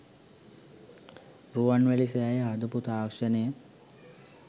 රුවන්වැලි සෑය හදපු තාක්‍ෂණය